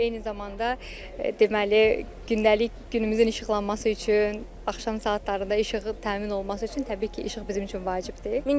Eyni zamanda deməli, gündəlik günümüzün işıqlanması üçün, axşam saatlarında işığın təmin olunması üçün təbii ki, işıq bizim üçün vacibdir.